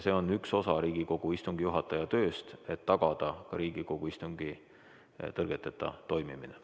See on üks osa Riigikogu istungi juhataja tööst, et tagada Riigikogu istungi tõrgeteta toimimine.